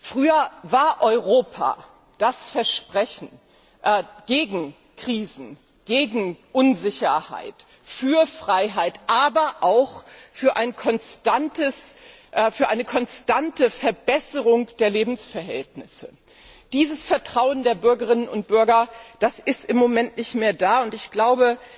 Früher war Europa das Versprechen gegen Krisen, gegen Unsicherheit, für Freiheit, aber auch für eine konstante Verbesserung der Lebensverhältnisse. Dieses Vertrauen der Bürgerinnen und Bürger ist im Moment nicht mehr vorhanden, und ich glaube,